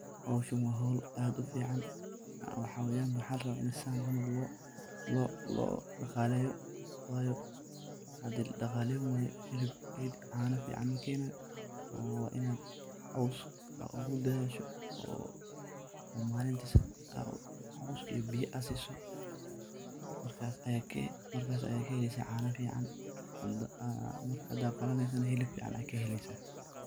Hoshan wa hol ad ufican xawanka maxa laraba ini sidhan cml loo daqaleyo wayo hadi ladaqaleyni wayo cano fican makenayo waa, inad cos ogu dadhasho oo malinti cos iyo biyo ad siso markas, aya cano fican kaheleysa hada qalaneyso nah hilib fican ayad kahelesa.